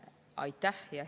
Aitäh!